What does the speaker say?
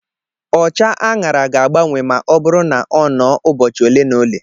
Ọcha añara ga-agbanwe ma ọ bụrụ na-ọnọ ụbọchị ole na ole